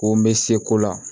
Ko n bɛ se ko la